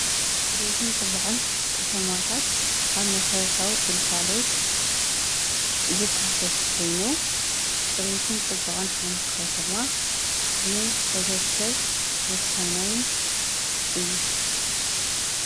ፅሬትን ፅባቀን ከተማታት አብ መሰረታዊ ግልጋሎት ዝካተት ኮይኑ ፅሬትን ፅባቀን ሓንቲ ከተማ ንሕብረተሰብ ወሳናይን እዩ፡፡